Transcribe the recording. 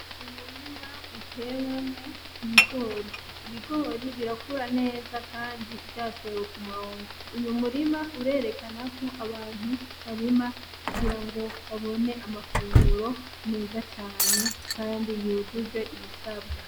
Umurima utewemwo Ibigori. Ibigori birakura neza Kandi vyatewe kumurongo. Uyo murima urerekana ko abantu barima kugirango babone amafunguro meza cane kandi yujuje ibisabwa.